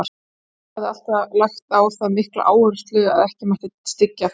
Amma hafði alltaf lagt á það mikla áherslu að ekki mætti styggja þá.